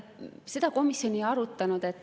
Seda komisjon ei arutanud.